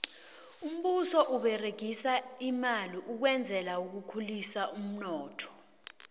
umbuso uberegisa imali ukwenzela ukhulisa umnotho